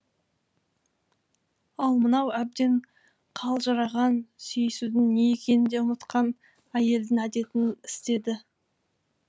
ал мынау әбден қалжыраған сүйісудің не екенін де ұмытқан әйелдің әдетін істеді